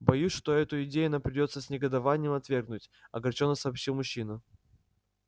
боюсь что эту идею нам придётся с негодованием отвергнуть огорчённо сообщил мужчина